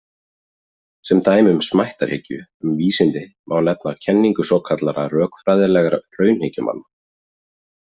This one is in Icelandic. Sem dæmi um smættarhyggju um vísindi má nefna kenningu svokallaðra rökfræðilegra raunhyggjumanna.